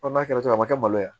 n'a kɛra ten a ma kɛ malo ye